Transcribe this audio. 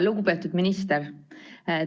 Lugupeetud minister!